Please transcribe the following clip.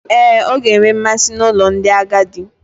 Ee, ọ ga-enwe mmasị n'ụlọ ndị agadi.